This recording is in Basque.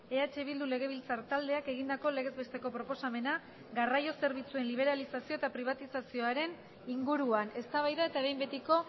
eh bildu legebiltzar taldeak egindako legez besteko proposamena garraio zerbitzuen liberalizazio eta pribatizazioaren inguruan eztabaida eta behin betiko